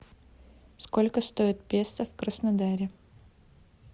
сколько стоит песо в краснодаре